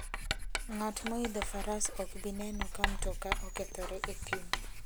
Ng'at moidho faras ok bi neno ka mtoka okethore e thim.